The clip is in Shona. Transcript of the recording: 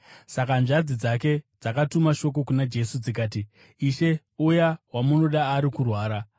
Saka hanzvadzi dzake dzakatuma shoko kuna Jesu, dzikati, “Ishe, uya wamunoda ari kurwara.”